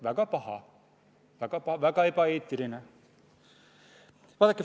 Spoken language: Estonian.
Väga paha, väga ebaeetiline!